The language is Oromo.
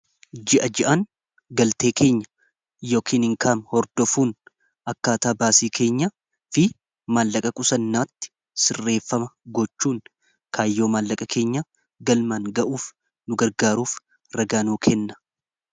ji'a ji'aan galtee keenya yookiin inkaam hordofuun akkaataa baasii keenyaa fi maallaqa qusannaatti sirreeffama gochuun kaayyoo maallaqa keenya galmaan ga'uuf nu gargaaruuf ragaa nuu kenna